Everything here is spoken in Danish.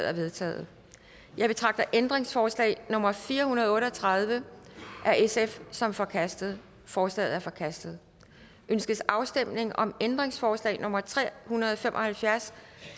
er vedtaget jeg betragter ændringsforslag nummer fire hundrede og otte og tredive af sf som forkastet forslaget er forkastet ønskes afstemning om ændringsforslag nummer tre hundrede og fem og halvfjerds